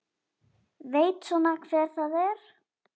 Veit svona hver það er.